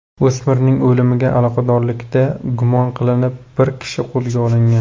O‘smirning o‘limiga aloqadorlikda gumon qilinib bir kishi qo‘lga olingan.